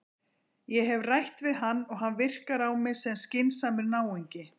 Ég hef rætt við hann og hann virkar á mig sem skynsamur náungi.